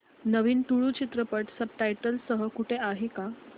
नवीन तुळू चित्रपट subtitles सह कुठे आहे का